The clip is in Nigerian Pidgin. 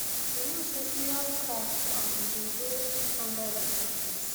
we know say serious cracks um dey dey under di surface